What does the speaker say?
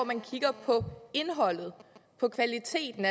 man kigger på indholdet på kvaliteten